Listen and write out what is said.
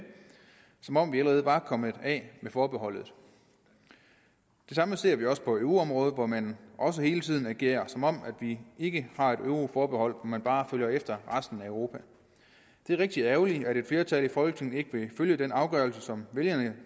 som om vi allerede var kommet af med forbeholdet det samme ser vi også på euroområdet hvor man også hele tiden agerer som om vi ikke har et euroforbehold men bare følger efter resten af europa det er rigtig ærgerligt at et flertal i folketinget ikke vil følge den afgørelse som vælgerne